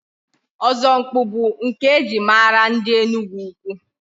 Ọzọmkpu bụ nke e ji mara ndị Enugwu-Ukwu.